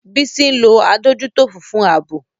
Bisi ń lo adójútòfò fún ààbò.